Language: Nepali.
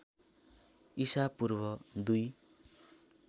ईसा पूर्व दुई